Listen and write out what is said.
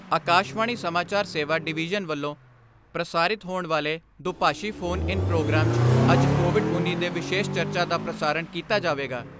ਆਕਾਸ਼ਵਾਣੀ ਸਮਾਚਾਰ ਸੇਵਾ ਡਿਵੀਜ਼ਨ ਵੱਲੋਂ ਪ੍ਰਸਾਰਿਤ ਹੋਣ ਵਾਲੇ ਦੁਭਾਸ਼ੀ ਫੋਨ ਇਨ ਪ੍ਰੋਗਰਾਮ 'ਚ ਅੱਜ ਕੋਵਿਡ ਉੱਨੀ ਦੇ ਵਿਸ਼ੇਸ਼ ਚਰਚਾ ਦਾ ਪ੍ਰਸਾਰਣ ਕੀਤਾ ਜਾਵੇਗਾ।